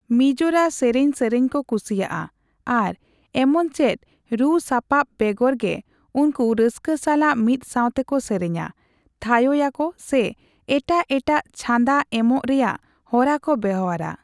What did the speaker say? ᱢᱤᱡᱳᱨᱟ ᱥᱮᱨᱮᱧ ᱥᱮᱨᱮᱧ ᱠᱚ ᱠᱩᱥᱤᱭᱟᱜᱼᱟ ᱟᱨ ᱮᱢᱚᱱᱪᱮᱫ ᱨᱩᱼᱥᱟᱯᱟᱵ ᱵᱮᱜᱚᱨ ᱜᱮ ᱩᱱᱠᱩ ᱨᱟᱹᱥᱠᱟᱹ ᱥᱟᱞᱟᱜ ᱢᱤᱫᱥᱟᱣᱛᱮ ᱠᱚ ᱥᱮᱨᱮᱧᱟ, ᱛᱷᱟᱭᱚᱭᱟᱠᱚ ᱥᱮ ᱮᱴᱟᱜ ᱮᱴᱟᱜ ᱪᱷᱟᱸᱫᱟ ᱮᱢᱚᱜ ᱨᱮᱭᱟᱜ ᱦᱚᱨᱟᱠᱚ ᱵᱮᱣᱦᱟᱨᱟ ᱾